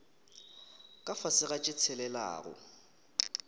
ka fase ga tše tshelelago